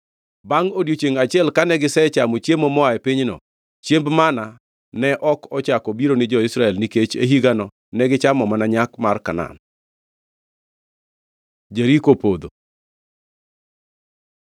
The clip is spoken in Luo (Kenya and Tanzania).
Bangʼ odiechiengʼ achiel kane gisechamo chiemo moa e pinyno, chiemb manna ne ok ochako biro ni jo-Israel nikech e higano negichamo mana nyak mar Kanaan. Jeriko opodho